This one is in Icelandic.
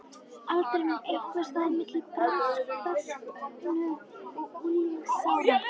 aldrinum, einhvers staðar milli bernsku og unglingsára.